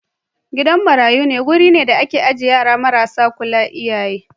Gidan marayu wuri ne da ake ajiye yara marasa kulawan iyaye.